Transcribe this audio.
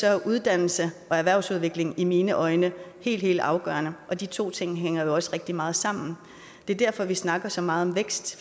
er uddannelse og erhvervsudvikling i mine øjne helt helt afgørende og de to ting hænger jo også rigtig meget sammen det er derfor vi snakker så meget om vækst